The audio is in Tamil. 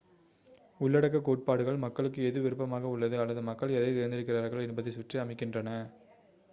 உள்ளடக்க கோட்பாடுகள் மக்களுக்கு எது விருப்பமாக உள்ளது அல்லது மக்கள் எதைத் தேர்ந்தெடுக்கிறார்கள் என்பதைச் சுற்றி அமைகின்றன